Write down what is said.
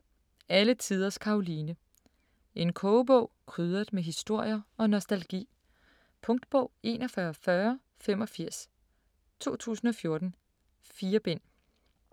Alle tiders Karoline En kogebog krydret med historier og nostalgi. Punktbog 414085 2014. 4 bind.